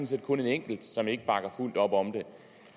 set kun en enkelt som ikke bakker fuldt op om